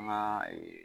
An ka ee